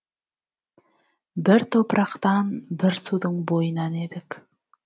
бір топырақтан бір судың бойынан едік